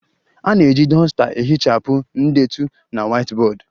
A na-eji duster ehichapụ ndetu na whiteboard